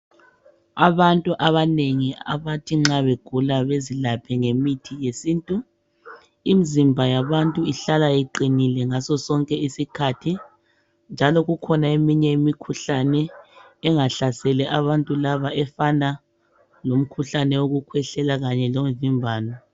Abantu abanengi abathi nxa begula bezilaphe ngemithi yesintu, imzimba yabantu ihlala iqinile ngaso sonke isikhathi njalo kukhona eminye imikhuhlane engahlaseli abantu laba efana lomkhuhlane wokukhwehlela kanye lomvimbano.